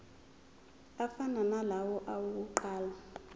afana nalawo awokuqala